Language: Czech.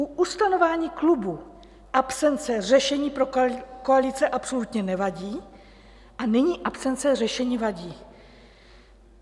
U ustanovení klubu absence řešení pro koalice absolutně nevadí a nyní absence řešení vadí.